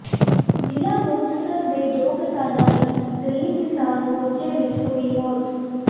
ਜ਼ਿਲ੍ਹਾ ਮੁਕਤਸਰ ਦੇ ਦੋ ਕਿਸਾਨਾਂ ਦੀ ਦਿੱਲੀ ਕਿਸਾਨ ਮੋਰਚੇ ਵਿਚ ਹੋਈ ਮੌਤ